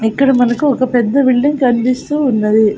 ఇక్కడ మనకు ఒక పెద్ద బిల్డింగ్ కనిపిస్తూ ఉన్నది.